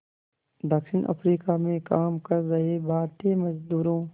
दक्षिण अफ्रीका में काम कर रहे भारतीय मज़दूरों